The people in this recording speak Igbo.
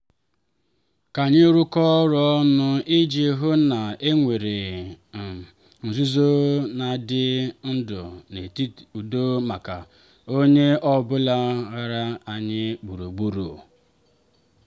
ka anyị rụkọọ ọrụ ọnụ iji hụ na e nwere um nzuzo na ịdị ndụ n'udo maka onye ọ bụla gbara anyi gburugburu.